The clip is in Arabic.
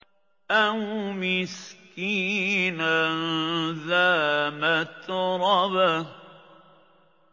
أَوْ مِسْكِينًا ذَا مَتْرَبَةٍ